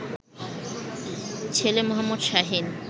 ছেলে মো. শাহীন